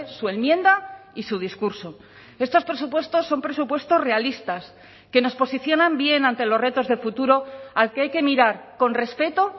su enmienda y su discurso estos presupuestos son presupuestos realistas que nos posicionan bien ante los retos de futuro al que hay que mirar con respeto